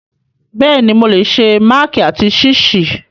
Bẹ́ẹ̀ni, mo lè se máàkì àti ṣíìsì.